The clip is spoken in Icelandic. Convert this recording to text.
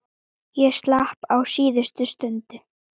Ég slapp á síðustu stundu.